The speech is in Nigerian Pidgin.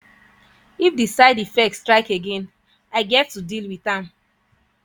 if di side effects strike again i get to deal with am.